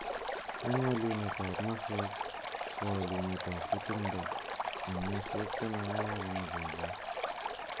Eng walenut ab masweek ,ko walunet ab kutung�undo eng masweek che magararan ichekei.